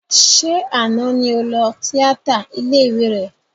Ṣé àná ni o lọ tíátà ilé ìwé rẹ?